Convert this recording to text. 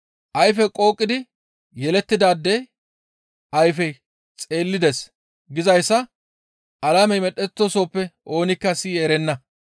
Ayfe qooqidi yelettidaade ayfey xeellides gizayssa alamey medhettoosoppe oonikka siyi erenna.